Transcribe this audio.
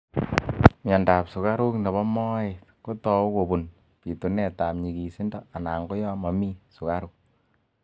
mianda ap sugaruk nebo maet kotau kopun pitunet ap nyigisindo ana koyamamii sugaruk